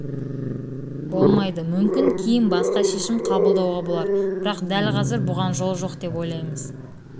болмайды мүмкін кейін басқа шешім қабылдауға болар бірақ дәл қазір бұған жол жоқ деп ойлаймыз